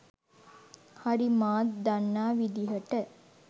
හරි මාත් දන්නා විදිහට.